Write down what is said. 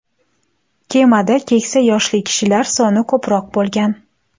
Kemada keksa yoshli kishilar soni ko‘proq bo‘lgan.